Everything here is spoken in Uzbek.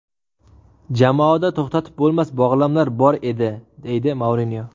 Jamoada to‘xtatib bo‘lmas bog‘lamlar bor edi”, deydi Mourinyo.